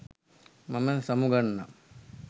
මම සමුගන්නම්